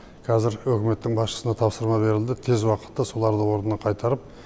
қазір үкіметтің басшысына тапсырма берілді тез уақытта соларды орнына қайтарып